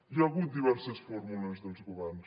hi ha hagut diverses fórmules dels governs